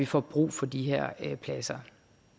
få brug for de her pladser